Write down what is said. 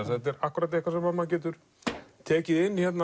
þetta er akkúrat eitthvað sem maður getur tekið inn